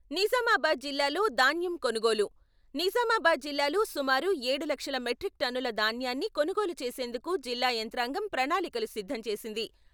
నిజామాబాద్ జిల్లాలో ధాన్యం కొనుగోలు, నిజామాబాద్ జిల్లాలో సుమారు ఏడు లక్షల మెట్రిక్ టన్నుల ధాన్యాన్ని కొనుగోలు చేసేందుకు జిల్లా యంత్రాంగం ప్రణాళికలు సిద్ధం చేసింది.